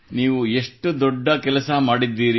ನೀವು ಎಷ್ಟು ದೊಡ್ಡ ಕೆಲಸ ಮಾಡಿದ್ದೀರಿ